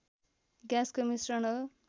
ग्याँसको मिश्रण हो